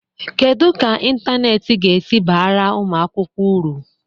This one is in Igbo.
Kedu ka ịntanetị ga-esi baara ụmụ akwụkwọ uru?